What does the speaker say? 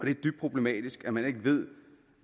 dybt problematisk at man ikke ved